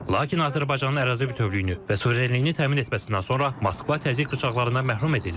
Lakin Azərbaycanın ərazi bütövlüyünü və suverenliyini təmin etməsindən sonra Moskva təzyiq rıçaqlarından məhrum edildi.